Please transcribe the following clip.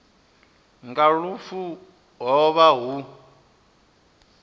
nga lufu ho vha hu